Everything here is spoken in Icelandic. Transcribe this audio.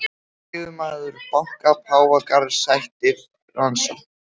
Yfirmaður banka Páfagarðs sætir rannsókn